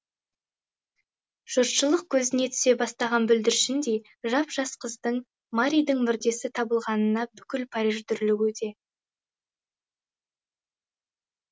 жұртшылық көзіне түсе бастаған бүлдіршіндей жап жас қыздың маридің мүрдесі табылғанына бүкіл париж дүрлігуде